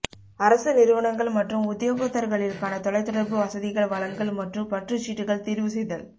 அரச நிறுவனங்கள் மற்றும் உத்தியோகத்தர்களிற்கான தொலைத்தொடர்பு வசதிகள் வழங்கல் மற்றும் பற்றுச்சீட்டுகள் தீர்வு செய்தல்